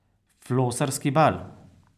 Flosarski bal.